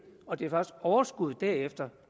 og det er først overskuddet derefter